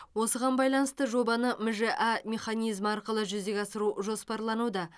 осыған байланысты жобаны мжә механизмі арқылы жүзеге асыру жоспарлануда